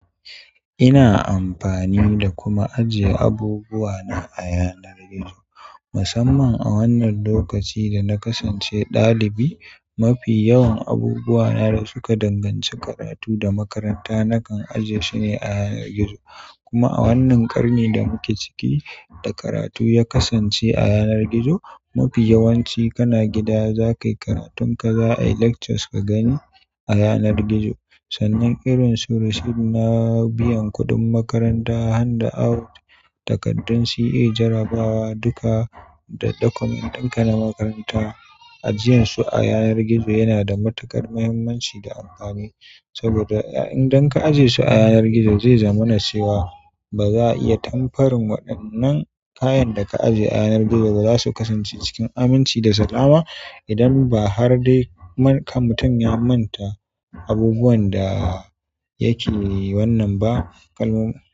Ina amfani da kuma ajiye abubuwa na a yanar gizo. Musamman a wannan lokaci da na kasance ɗalibi mafi yawan abubuwa na da suka danganci karatu da makaranta nakan aje shi ne a yanar gizo. Kuma a wannan ƙarni da muke ciki, da karatu ya kasance a yanar gizo, mafi yawanci kana gida za kayi karatun ka, za a yi lectures ka gani a yanar gizo. Sannan irin su receipt na biyan kuɗin makaranta, hand out, takaddun CA, jarrabawa, duka document ɗin ka na makaranta ajiyansu a yanar gizo yana da matuƙar muhimmanci da amfani. Saboda idan ka aje shi a yanar gizo zai zamana cewa ba za'a iya tempering waɗannan kayan da ka aje a yanar gizo ba. Za su kasance cikin aminci da salama idan ba har dai kam mutum ya manta abubuwan da yake wannan ba. Kalmomi.